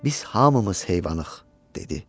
Biz hamımız heyvanıq, dedi.